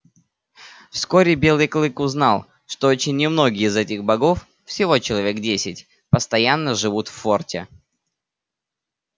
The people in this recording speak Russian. вскоре белый клык узнал что очень немногие из этих богов всего человек десять постоянно живут в форте